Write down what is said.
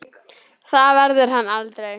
Það verður hann aldrei.